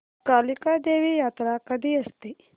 कालिका देवी यात्रा कधी असते